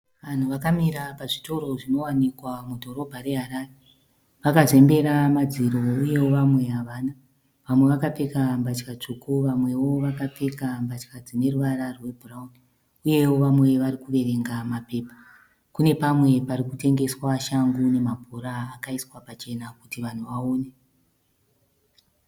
Vanhu vakamira pazvitoro zvinowanikwa mudhorobha reHarare Vakazembera madziro uyewo vamwe havana. Vamwe vakapfeka mbatya tsvuku vamwewo vakapfeka mbatya dzine ruvara rwebhurauni uyewo vamwe vari kuverenga mapepa. Kune pamwe pari kutengeswa shangu nemabhora akaiswa pachena kuti vanhu vaone.